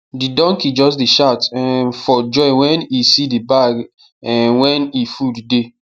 the donkey just dey shout um for joy wen e see the bag um wen e food dey